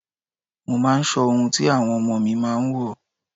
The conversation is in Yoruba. Mo máa ń sọ ohun tí àwọn ọmọ mi máa ń wò.